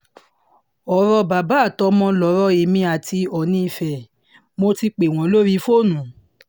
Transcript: ọ̀rọ̀ bàbá àtọmọ lọ̀rọ̀ èmi àti oòní ife mo ti pè wọ́n lórí fóònù